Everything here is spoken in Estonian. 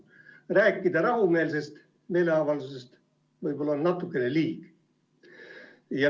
Nii et rääkida siin rahumeelsest meeleavaldusest on võib-olla natuke liig.